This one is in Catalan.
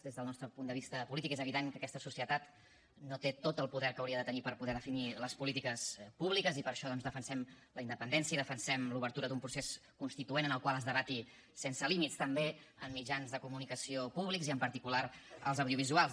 des del nostre punt de vista polític és evident que aquesta societat no té tot el poder que hauria de tenir per poder definir les polítiques públiques i per això doncs defensem la independència defensem l’obertura d’un procés constituent en el qual es debati sense límits també en mitjans de comunicació públics i en particular als audiovisuals